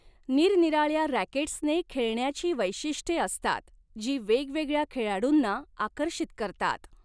निरनिराळ्या रॅकेट्सने खेळण्याची वैशिष्ट्ये असतात जी वेगवेगळ्या खेळाडूंना आकर्षित करतात.